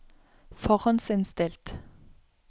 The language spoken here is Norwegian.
forhåndsinnstilt